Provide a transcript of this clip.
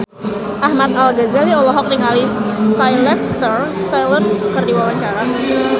Ahmad Al-Ghazali olohok ningali Sylvester Stallone keur diwawancara